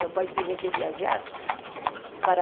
Meu pai teve que viajar para...